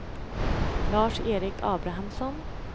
Lars-Erik Abrahamsson